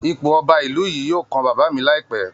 Ipò Ọba ìlú yìí yóò kan baba mi láìpẹ́